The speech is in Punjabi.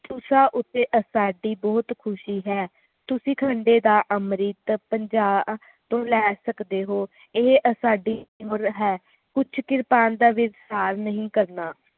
ਤੁਸਾਂ ਉੱਤੇ ਸਾਡੀ ਬਹੁਤ ਖੁਸ਼ੀ ਹੈ ਤੁਸੀਂ ਖੰਡੇ ਦਾ ਅੰਮ੍ਰਿਤ ਪੰਜਾਹ ਤੋਂ ਲੈ ਸਕਦੇ ਹੋ ਇਹ ਸਾਡੀ ਮੁੱਲ ਹੈ ਕੁਛ ਕਿਰਪਾਲਤਾ ਦੇ ਨਾਲ ਨਹੀਂ ਕਰਨਾ